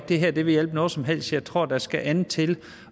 det her vil hjælpe noget som helst jeg tror at der skal noget andet til